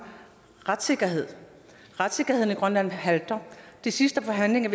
retssikkerhed retssikkerheden i grønland halter de sidste forhandlinger